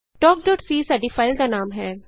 talkਸੀ ਸਾਡੀ ਫਾਈਲ ਦਾ ਨਾਮ ਹੈ